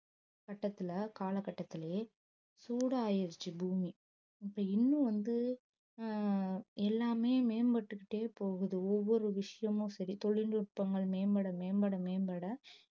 கட்டத்துல காலகட்டத்திலேயே சூடாயிருச்சு பூமி இப்ப இன்னும் வந்து அஹ் எல்லாமே மேம்பட்டுகிட்டே போகுது ஒவ்வொரு விஷயமும் சரி தொழில்நுட்பங்கள் மேம்பட மேம்பட மேம்பட